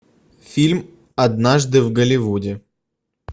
фильм однажды в голливуде